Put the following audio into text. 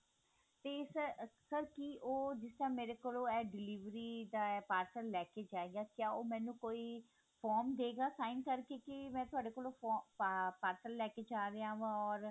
ਤੇ sir sir ਕੀ ਉਹ ਜਿਸ ਤਰ੍ਹਾਂ ਮੇਰੇ ਕੋਲੋਂ ਇਹ delivery ਦਾ parcel ਲੈਕੇ ਜਾਇਗਾ ਕੀ ਉਹ ਮੈਨੂੰ ਕੋਈ form ਦੇਗਾ sign ਕਰਕੇ ਕੀ ਮੈਂ ਤੁਹਾਡੇ ਕੋਲੋਂ form ਅਹ parcel ਲੈਕੇ ਜਾ ਰਿਹਾਂ ਵਾ or